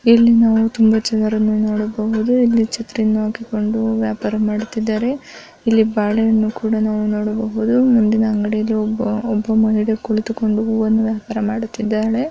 ಇಲ್ಲಿ ನಾವು ತುಂಬಾ ಜನರನ್ನು ನೋಡಬಹುದು. ಇಲ್ಲಿ ಛತ್ರಿಯನ್ನು ಹಾಕಿಕೊಂಡು ವ್ಯಾಪಾರ ಮಾಡುತ್ತಿದ್ದಾರೆ. ಇಲ್ಲಿ ಬಾಳೆ ಹಣ್ಣು ಕೂಡ ನಾವು ನೋಡಬಹುದು. ಮುಂದಿನ ಅಂಗಡಿಯಲ್ಲಿ ಒಬ್ಬ ಒಬ್ಬ ಮಹಿಳೆ ಕುಳಿತುಕೊಂಡು ಹೂವನ್ನು ವ್ಯಾಪಾರ ಮಾಡುತ್ತಿದ್ದಾಳೆ.